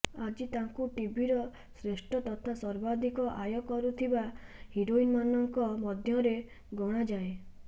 ଆଜି ତାଙ୍କୁ ଟିଭିର ଶ୍ରେଷ୍ଠ ତଥା ସର୍ବାଧିକ ଆୟ କରୁଥିବା ହିରୋଇନମାନଙ୍କ ମଧ୍ୟରେ ଗଣାଯାଏ